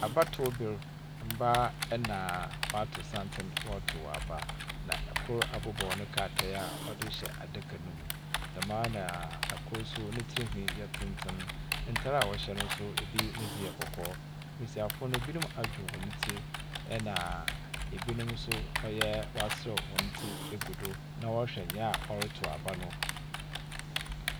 Ababato bier. Mbaa na wɔatow santsen wɔrotow aba. Na kor abobow ne krataa a ɔdze rehyɛ adaka no mu. Dɛm ara na kor nso ne tsirnhwi yɛ tenten. Ntar a wɔhyɛ no nso bi ne dze yɛ kɔkɔɔ. Mbesiafo no, binom adwew hɔn tsir, ɛna binom nso ɔyɛ, ɔaseraw hɔn tsir egu do na wɔrehw nya ɔroto aba no.